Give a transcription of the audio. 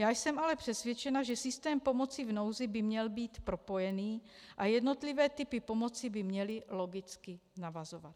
Já jsem ale přesvědčena, že systém pomoci v nouzi by měl být propojený a jednotlivé typy pomoci by měly logicky navazovat.